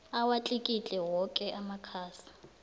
awatlikitle woke amakhasi